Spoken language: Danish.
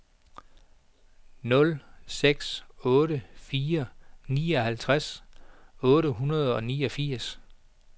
nul seks otte fire nioghalvtreds otte hundrede og niogfirs